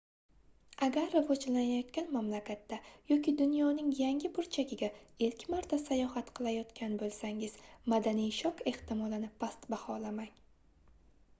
agar rivojlanayotgan mamlakatda yoki dunyoning yangi burchagiga ilk marta sayohat qilayotgan boʻlsangiz madaniy shok ehtimolini past baholamang